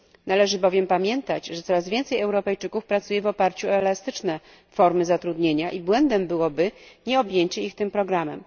Należy bowiem pamiętać, że coraz więcej Europejczyków pracuje w oparciu o elastyczne formy zatrudnienia i błędem byłoby nieobjęcie ich tym programem.